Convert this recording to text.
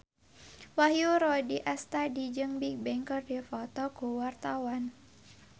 Wahyu Rudi Astadi jeung Bigbang keur dipoto ku wartawan